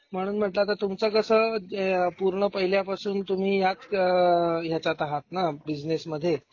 म्हणून म्हंटल आता तुमच कस पूर्ण पहिल्या पासून तुम्ही या अ ह्याच्यात आहात ना. बिझनेस मध्ये.